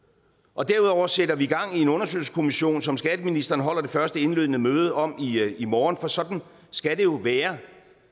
og derudover sætter vi gang i en undersøgelseskommission som skatteministeren holder det første indledende møde om i morgen for sådan skal det jo være